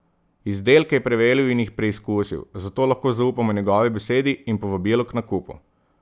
Izdelke je preveril in jih preizkusil, zato lahko zaupamo njegovi besedi in povabilu k nakupu.